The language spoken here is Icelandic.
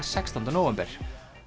sextánda nóvember